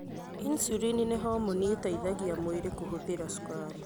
Insulin nĩ homoni ĩteithagia mwĩrĩ kũhũthĩra cukari.